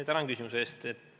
Tänan küsimuse eest!